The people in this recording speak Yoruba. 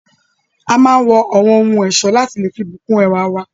A máa n wọ awọn ohun ọ̀ṣọ lati fi lé bu kún ẹwá wa